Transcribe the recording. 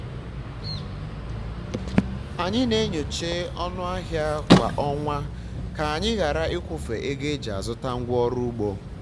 anyị na-enyocha ọnụ ahịa kwa ọnwa ka-anyi ghara ikwufe ego eji azụta ngwa ọrụ ugbo